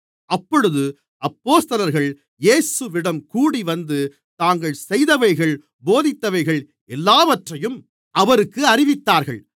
அப்பொழுது அப்போஸ்தலர்கள் இயேசுவிடம் கூடிவந்து தாங்கள் செய்தவைகள் போதித்தவைகள் எல்லாவற்றையும் அவருக்கு அறிவித்தார்கள்